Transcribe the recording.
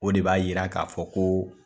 O de b'a yira k'a fɔ ko